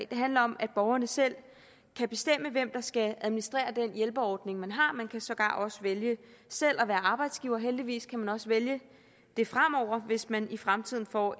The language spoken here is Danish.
det handler om at borgerne selv kan bestemme hvem der skal administrere den hjælpeordning man har og man kan sågar også vælge selv at være arbejdsgiver heldigvis kan man også vælge det fremover hvis man i fremtiden får